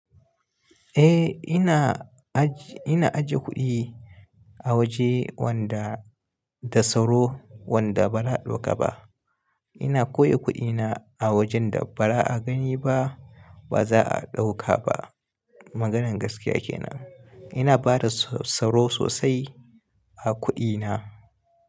Eh ina ajiye kuɗi a waje wanda da tsaro wanda bara a dauka ba. Ina koyo kuɗina a wajen da ba ra a gani ba ba za a ɗauka ba. Maganar gaskiya kenan. Ina bada tsaro sosai a kuɗina.